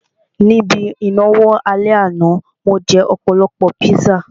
Ní ibi ìnáwó ní alẹ́ àná, mo jẹ́ ọ̀pọ̀lọpọ̀ píṣà